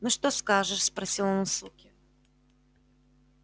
ну что скажешь спросил он у суки